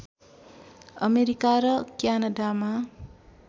America र क्यानाडामा